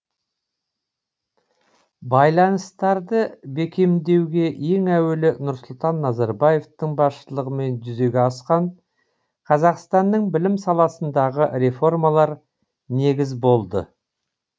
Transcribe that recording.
байланыстарды бекемдеуге ең әуелі нұрсұлтан назарбаевтың басшылығымен жүзеге асқан қазақстанның білім саласындағы реформалар негіз болды